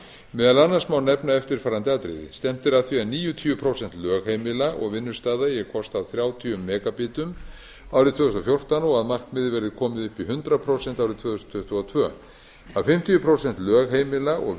meðal annars má nefna eftirfarandi atriði stefnt er að því að níutíu prósent lögheimila og vinnustaða eigi að kosta þrjátíu megabitum árið tvö þúsund og fjórtán og markmiðið verði komið upp í hundrað prósent árið tvö þúsund tuttugu og tvö að fimmtíu prósent lögheimila og